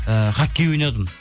ііі хоккей ойнадым